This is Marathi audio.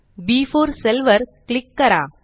बी4 सेल वर क्लिक करा